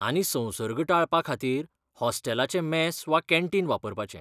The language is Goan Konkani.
आनी संसर्ग टाळपा खातीर हॉस्टेलाचें मॅस वा कॅन्टीन वापरपाचें.